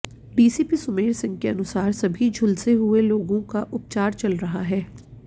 DCP Sumer Singh के अनुसार सभी झुलसे हुए लोगों का उपचार चल रहा है